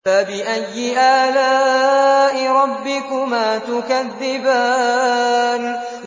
فَبِأَيِّ آلَاءِ رَبِّكُمَا تُكَذِّبَانِ